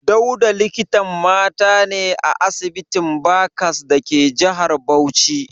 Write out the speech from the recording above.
Dauda likitan mata ne a asibitin Barcas dake jihar Bauchi.